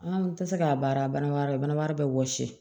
An tɛ se k'a baara bananbara bana wɛrɛ bɛ wɔsi